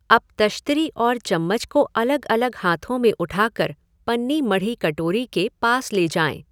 अब तश्तरी और चम्मच को अलग अलग हाथों में उठाकर पन्नी मढ़ी कटोरी के पास ले जाएँ?